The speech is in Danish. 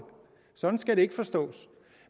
sådan skal det ikke forstås